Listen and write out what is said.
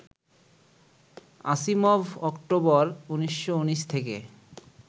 Asimov October, ১৯১৯ থেকে